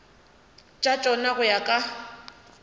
tša tšona go ya ka